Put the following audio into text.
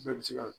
Bɛɛ bɛ se ka